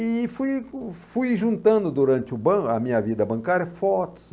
E fui fui juntando durante o ban a minha vida bancária fotos.